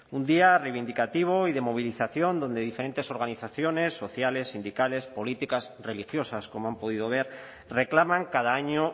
un día reivindicativo y de movilización donde diferentes organizaciones sociales sindicales políticas religiosas como han podido ver reclaman cada año